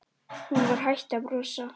Hún var hætt að brosa.